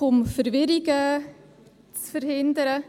Einfach, um Verwirrung zu verhindern: